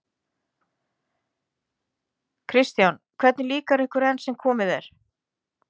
Kristján: Hvernig líkar ykkur enn sem komið er?